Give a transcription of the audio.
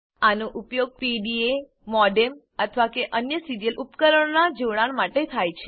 આનો ઉપયોગ PDA modem અથવા અન્ય સીરીયલ ઉપકરણનાં જોડાણ માટે થાય છે